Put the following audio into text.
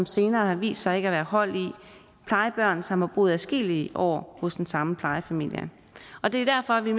senere har vist sig ikke at være hold i plejebørn som har boet adskillige år hos den samme plejefamilie og det er derfor vi